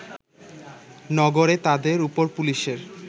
নগরে তাদের ওপর পুলিশের